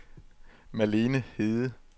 Malene Hede